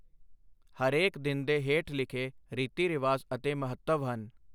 ਹਰੇਕ ਦਿਨ ਦੇ ਹੇਠ ਲਿਖੇ ਰੀਤੀ ਰਿਵਾਜ ਅਤੇ ਮਹੱਤਵ ਹਨਃ